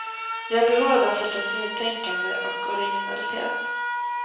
Vi har behov av den sortens nytänkande och originalitet.